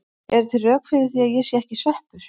Eru til rök fyrir því að ég sé ekki sveppur?